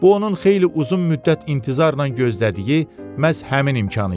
Bu onun xeyli uzun müddət intizarla gözlədiyi məhz həmin imkan idi.